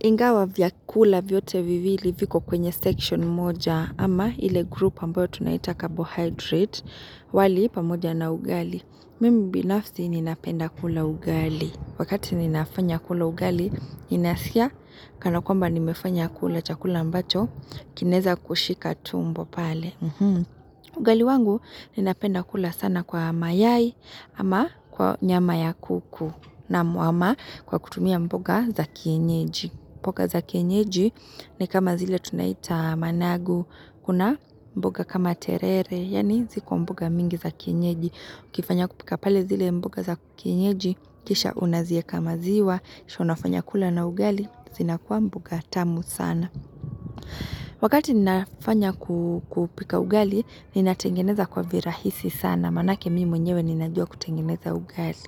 Ingawa vyakula vyote viwili viko kwenye section moja ama ile group ambayo tunaita carbohydrate wali pamoja na ugali. Mimi binafsi ninapenda kula ugali. Wakati ninafanya kula ugali, inasikia kanakwamba nimefanya kula chakula mbacho, kinaweza kushika tumbo pale. Ugali wangu ninapenda kula sana kwa mayai ama kwa nyama ya kuku na muama kwa kutumia mboga za kienyeji. Mboga za kenyeji, ni kama zile tunaita managu, kuna mboga kama terere, yani ziko mboga mingi za kenyeji. Kifanya kupika pale zile mboga za kenyeji, kisha unaziweka maziwa, kisha unafanya kula na ugali, zinakuwa mboga tamu sana. Wakati ninafanya kupika ugali, ninatengeneza kwa virahisi sana. Maanake mimi mwenyewe ninajua kutengeneza ugali.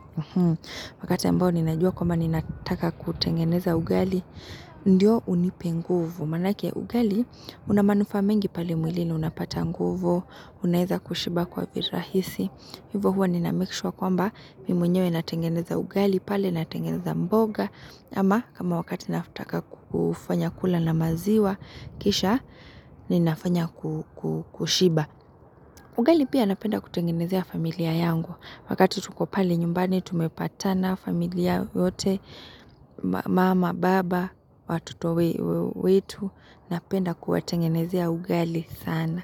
Wakati ambao ninajua kwamba ninataka kutengeneza ugali. Ndiyo unipe nguvu, manake ugali una manufaa mengi pale mwilini unapata nguvu, unaweza kushiba kwa virahisi. Hivo huwa ninamekishuwa kwamba mimi mwenyewe natengeneza ugali, pale natengeneza mboga, ama kama wakati nataka kufanya kula na maziwa, kisha ninafanya kushiba. Ugali pia napenda kutengenezea familia yangu, wakati tuko pale nyumbani tumepatana familia yote, mama, baba, watoto wetu, napenda kuwatengenezea ugali sana.